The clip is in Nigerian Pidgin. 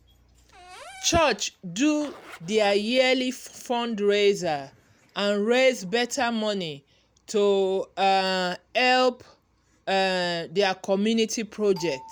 church do their yearly fundraiser and raise better money to um help um their community project.